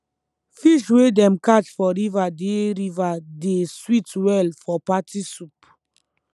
fish wey dem catch for river dey river dey sweet well for party soup